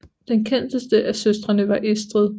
Den kendteste af søstrene var Estrid